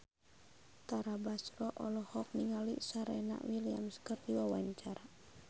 Tara Basro olohok ningali Serena Williams keur diwawancara